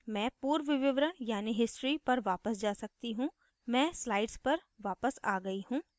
मैं पूर्व विवरण यानि history पर वापस जा सकती हूँ मैं slide पर वापस आ गयी हूँ